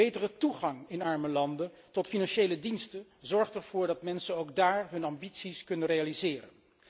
Betere toegang in arme landen tot financiële diensten zorgt ervoor dat mensen ook daar hun ambities kunnen realiseren.